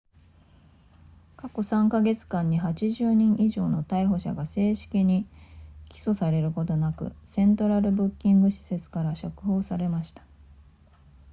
過去3カ月間に80人以上の逮捕者が正式に起訴されることなくセントラルブッキング施設から釈放されました